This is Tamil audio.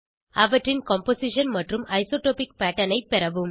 அவற்றின் கம்போசிஷன் மற்றும் ஐசோட்ரோபிக் பேட்டர்ன் ஐ பெறவும்